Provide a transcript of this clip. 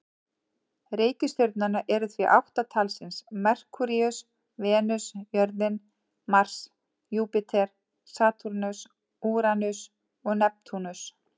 Reikistjörnurnar eru því átta talsins: Merkúríus, Venus, jörðin, Mars, Júpíter, Satúrnus, Úranus og Neptúnus.